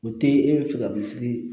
O te e be fɛ ka min sigi